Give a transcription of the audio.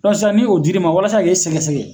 sisan ni o dira i ma walasa k'i sɛgɛsɛgɛ